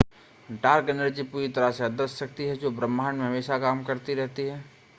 dark energy पूरी तरह से अदृश्य शक्ति है जो ब्रह्मांड में हमेशा काम करती रहती है